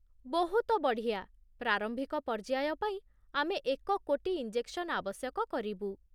ବହୁତ ବଢ଼ିଆ। ପ୍ରାରମ୍ଭିକ ପର୍ଯ୍ୟାୟ ପାଇଁ ଆମେ ଏକ କୋଟି ଇଞ୍ଜେକ୍ସନ୍ ଆବଶ୍ୟକ କରିବୁ।